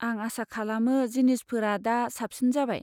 आं आसा खालामो जिनिसफोरा दा साबसिन जाबाय।